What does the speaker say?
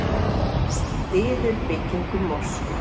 Styður byggingu mosku